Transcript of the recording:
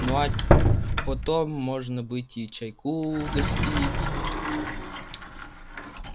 ну а потом может быть и чайку угостить